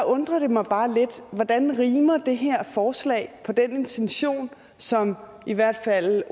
undrer det mig bare lidt hvordan det her forslag rimer den intention som i hvert fald